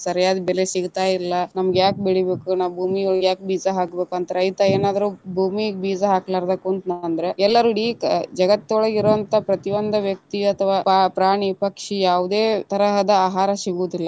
ಸರಿಯಾದ ಬೆಲೆ ಸಿಗ್ತಾ ಇಲ್ಲಾ ನಮ್ಗ ಯಾಕ ಬೆಳಿಬೇಕ, ನಾ ಭೂಮಿ ಒಳಗ ಯಾಕ ಬೀಜ ಹಾಕ್ಬೇಕು ಅಂತ ರೈತ ಏನಾದ್ರು ಭೂಮಿಗ ಬೀಜ ಹಾಕಲಾರ್ದ ಕುಂತನಂದ್ರ ಎಲ್ಲಾ ಇಡಿ ಜಗತ್ತೊಳಗ ಇರುವಂತ ಪ್ರತಿಒಂದ ವ್ಯಕ್ತಿ ಅಥವಾ ಪ್ರಾಣಿ, ಪಕ್ಷಿ ಯಾವುದೇ ತರಹದ ಆಹಾರ ಸಿಗುದಿಲ್ಲಾ.